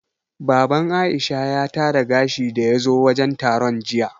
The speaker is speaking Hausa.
Baban Aisha ya tara gashi daya zo wajen taron jiya